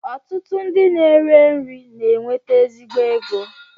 Ọtụtụ ndị na-ere nri na-enweta ezigbo ego